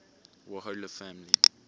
warhola family